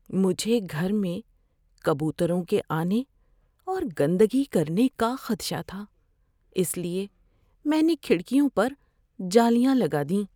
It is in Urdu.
مجھے گھر میں کبوتروں کے آنے اور گندگی کرنے کا خدشہ تھا اس لیے میں نے کھڑکیوں پر جالیاں لگا دیں۔